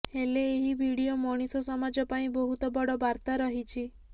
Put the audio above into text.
ହେଲେ ଏହି ଭିଡିଓ ମଣିଷ ସମାଜ ପାଇଁ ବହୁତ ବଡ଼ ବାର୍ତ୍ତା ରହିଛି